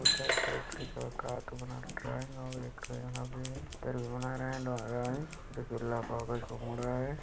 उधर पे एक ठो अउ का का बनात रखा है ड्रॉइंग अउ एक ठो यहाँ पे गीला कागज को मोड़ रहा है।